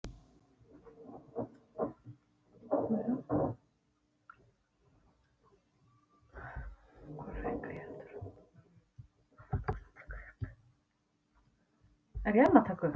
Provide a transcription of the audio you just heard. Viti menn!